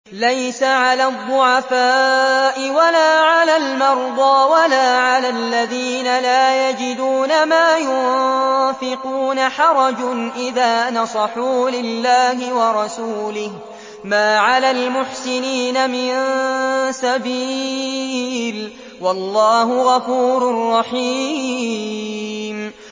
لَّيْسَ عَلَى الضُّعَفَاءِ وَلَا عَلَى الْمَرْضَىٰ وَلَا عَلَى الَّذِينَ لَا يَجِدُونَ مَا يُنفِقُونَ حَرَجٌ إِذَا نَصَحُوا لِلَّهِ وَرَسُولِهِ ۚ مَا عَلَى الْمُحْسِنِينَ مِن سَبِيلٍ ۚ وَاللَّهُ غَفُورٌ رَّحِيمٌ